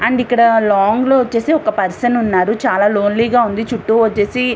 And ఇక్కడ long లో వచ్చేసి ఒక పర్సన్ ఉన్నారు. చాలా లోన్లీ గా ఉంది. చుట్టూ వచ్చేసి --